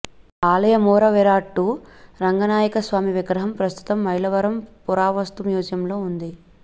ఆలయ మూలవిరాట్టు రంగనాయకస్వామి విగ్రహం ప్రస్తుతం మైలవరం పురావస్తు మ్యూజియంలో ఉంది